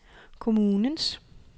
kommunens